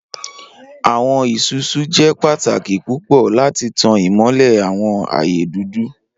Awọn Isusu jẹ pataki pupọ lati tan imọlẹ awọn aaye dudu..